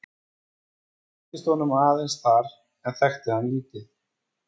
Ég kynntist honum aðeins þar en þekkti hann lítið.